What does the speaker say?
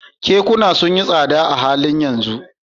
Kekuna sun yi tsada a halin yanzu